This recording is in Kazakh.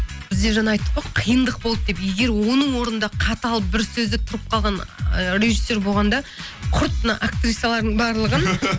бізде жаңа айттық қой қиындық болды деп егер оның орнында қатал бір сөзде тұрып қалған ы режиссер болғанда құрт мына актрисалардың барлығын